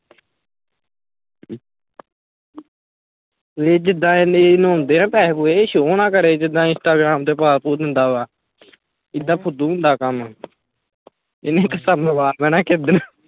ਇਹ ਜਿਦਾ ਇਹ ਨਾ ਪੈਸੇ ਪੂਸੇ show ਨਾ ਕਰੇ ਜਿਦਾ instagram ਤੇ ਪਾ ਪੁ ਦਿੰਦਾ ਵਾ ਏਦਾਂ ਫੁੱਦੂ ਹੁੰਦਾ ਕੰਮ ਇਹਨੇ ਮਰਵਾ ਬਹਿਣਾ ਈ ਕਿਸੇ ਦਿਨ